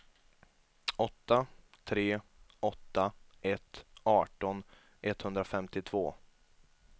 åtta tre åtta ett arton etthundrafemtiotvå